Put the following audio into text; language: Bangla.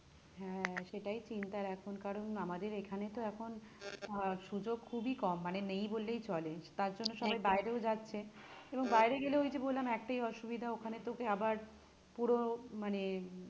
হ্যাঁ সেটাই চিন্তার এখন কারণ আমাদের এখানে তো এখন আহ সুযোগ খুবই কম মানে নেই বললেই চলে তার জন্য একদমই সবাই বাইরেও যাচ্ছে এবং বাইরে গেলে ওই যে বললাম একটাই অসুবিধা ওখানে তোকে আবার পুরো মানে